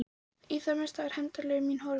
Í það minnsta var hefndarlöngun mín horfin.